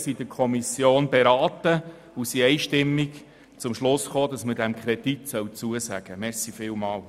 Die Kommission hat dieses beraten und ist einstimmig zum Schluss gekommen, diesem Kredit sei zuzustimmen.